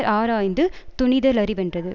ஆராய்ந்து துணித லறிவென்றது